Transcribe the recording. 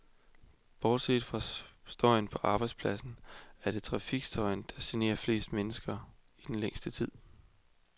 Bortset fra støjen på arbejdspladserne, er det trafikstøjen, der generer flest mennesker og i den længste tid.